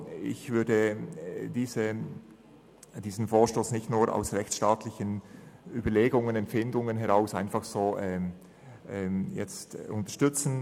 Ich würde diesen Vorstoss nicht lediglich aufgrund rechtsstaatlicher Überlegungen und Empfindungen unterstützen.